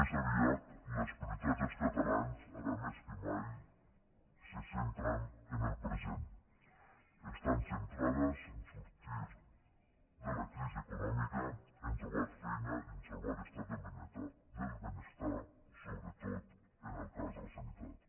més aviat les prioritats dels catalans ara més que mai se centren en el present estan centrades a sortir de la crisi econòmica a trobar feina i a salvar l’estat del benestar sobretot en el cas de la sanitat